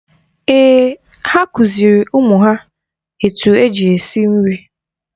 Èè, ha kụziri ụmụ ha etu eji esi nri